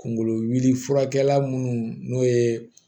Kungolo wulifurakɛla munnu n'o ye